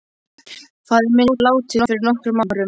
Faðir minn er látinn fyrir nokkrum árum.